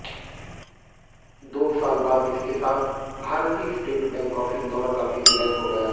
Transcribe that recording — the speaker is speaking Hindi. दो साल बाद इसके साथ भारतीय स्टेट बैंक ऑफ इंदौर का भी विलय हो गया